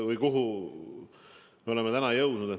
Kuhu me oleme täna jõudnud?